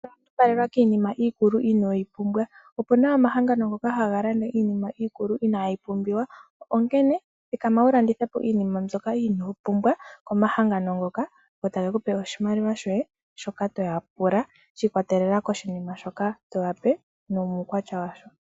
Inondumbalelwa kiinima ikulu inoyipumbwa, Opuna omahangano ngoka hangalanda iinima ikulu inayipumbiwa, Onkene thikama wulandithepo iinima mbyoka inopumbwa omahangano ngoka, go tagekupe oshimaliwa shoye shoka toyapula shikwatelela koshinima shoka toyape nomukwatya washo.